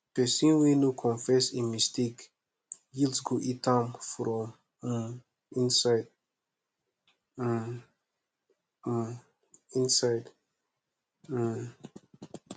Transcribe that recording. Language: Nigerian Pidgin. pesin wey no confess im mistake guilt go eat am from um inside um um inside um